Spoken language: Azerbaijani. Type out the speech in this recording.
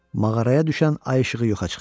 Mağaraya düşən ay işığı yoxa çıxdı.